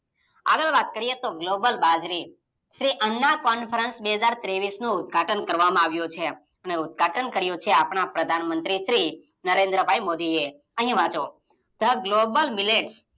આગળ વાત કર્યે તો ગ્લોબલ બાજરી શ્રી અન્ના કોંફ્રન્સ બે હાજર ત્રેવીસ નું ઉદઘાટન કરવામાં આવ્યું છે અને ઉદઘાટન કર્યું છે આપણા પ્રધાન મંત્રી શ્રી નરેન્દ્ર ભાઈ મોદી એ અહીં વાંચો ધ ગ્લોબલ મિલેટ